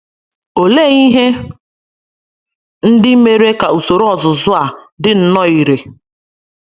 Olee ihe ndị mere ka usoro ọzụzụ a dị nnọọ irè?